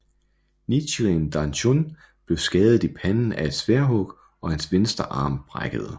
Nichiren Daishonin blev skadet i panden af et sværdhug og hans venstre arm brækkede